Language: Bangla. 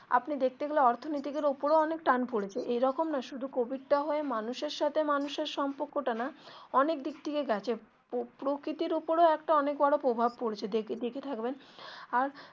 আপনি দেখতে গেলে অর্থনৈতিক এর ওপরেও অনেক টান পড়েছে এইরকম না শুধু কোভিড টা হয়ে মানুষ এর সাথে মানুষ এর সম্পর্ক টা না অনেক দিক থেকেই গেছে প্রকৃতির ওপরেও একটা অনেক বড়ো প্রভাব পড়েছে দেখে থাকবেন আর.